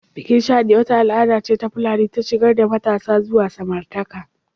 Bikin Shaɗi wata al'ada ce ta Fulani ta shigar da matasa zuwa samartaka